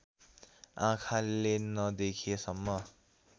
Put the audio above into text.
आँखाले नदेखे सम्म